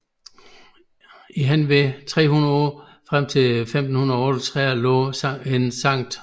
I henved 300 år frem til 1538 lå en Skt